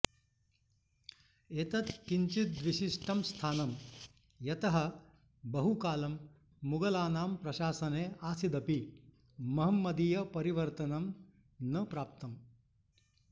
एतत् किञ्चिद्विशिष्टं स्थानं यतः बहुकालं मुगलानां प्रशसने आसीदपि महम्मदीयपरिवर्तनं न प्राप्तम्